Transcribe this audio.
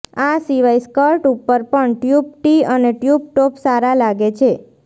આ સિવાય સ્કર્ટ ઉપર પણ ટયુબ ટી અને ટયુબ ટોપ સારા લાગે છે